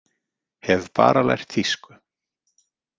Hef bara lært þýsku.